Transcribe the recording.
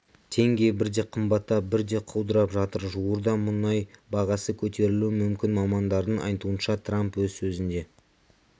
теңге бірде қымбаттап бірде құлдырап жатыр жуырда мұнай бағасы көтерілуі мүмкін мамандардың айтуынша трамп өз сөзінде